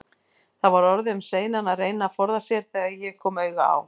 Það var orðið um seinan að reyna að forða sér, þegar ég kom auga á